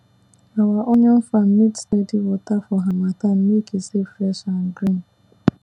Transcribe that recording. our onion farm need steady water for harmattan make e stay fresh and green